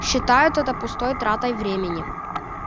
считают это пустой тратой времени